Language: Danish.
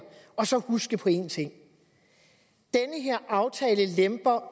og så huske på én ting denne her aftale lemper